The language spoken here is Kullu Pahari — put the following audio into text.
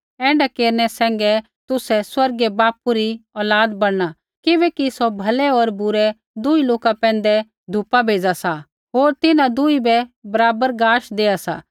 ऐण्ढा केरनै सैंघै तुसै स्वर्गीय बापू री औलाद बणना किबैकि सौ भलै होर बुरै दुही लोका पैंधै धुपा भेज़ा सा होर तिन्हां दुही बै बराबर गाश देआ सा